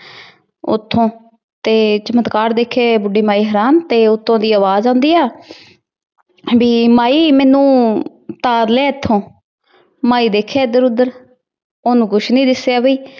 ਉਥੋ, ਤੇ ਚਮਤਕਾਰ ਦੇਖੇ ਬੁੱਢੀ ਮਾਈ ਹੈਰਾਨ ਤੇ ਉਤੋ ਦੀ ਆਵਾਜ ਆਉਂਦੀ ਆ। ਠੰਡੀ ਮਾਈ ਮੈਨੂੰ ਉਤਾਰ ਲੈ ਇਥੋ। ਮਾਈ ਦੇਖੇ ਇਧਰ ਉੱਧਰ ਉਹਨੂੰ ਕੁਝ ਨੀ ਦਿਸਿਆ ਬਈ।